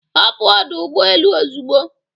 Hapụ ọdụ ụgbọ elu ozugbo